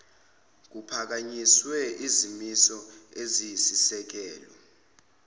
kuphakanyiswe izimiso eziyisisekelo